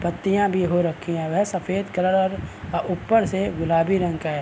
पत्तियां भी हो रखी हैं व सफ़ेद कलर और अ ऊपर से गुलाबी रंग का है |